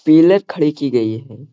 खड़ी की गई है।